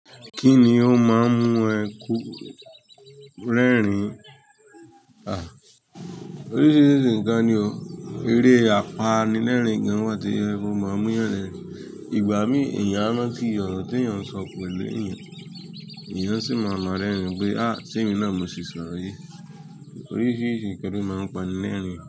Kí ni ó máa ń mú ẹ kú rẹ́rìn-ín? À, oríṣìíríṣìí nkan ni o. Eré apanilẹ́rìn gan wà to jẹ pe ó ma mú eeyàn rẹ̀rin. Ìgbà mí èèyàn a ranti ọro tí èèyàn sọ pẹ̀lú èèyàn, èèyàn sì máa maa rẹ́rìn-ín pé, "à, se èmi náà mo ṣì sọ ọro yii". Oríṣìíríṣìí ǹkan ni ó máa ń pani lẹ́rìn-ín.